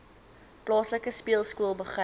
plaaslike speelskool begin